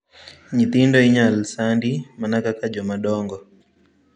Nyithindo inyal sandi mana kaka joma dongo.